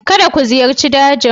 Kada ku ziyarci dajin.